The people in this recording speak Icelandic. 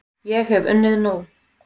Ég hef unnið nóg!